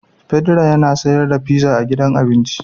Pedro yana sar da fiza a gidan abinci.